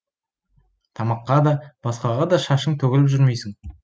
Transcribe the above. тамаққа да басқаға да шашың төгіліп жүрмейсің